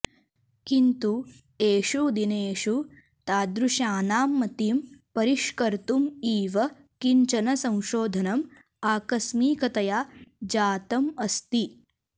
किन्तु एषु दिनेषु तादृशानां मतिं परिष्कर्तुम् इव किञ्चन संशोधनम् आकस्मिकतया जातम् अस्ति